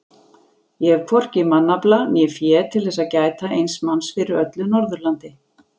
Ég hef hvorki mannafla né fé til þess að gæta eins manns fyrir öllu Norðurlandi.